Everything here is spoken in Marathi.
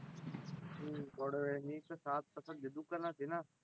हम्म थोड्या वेळाने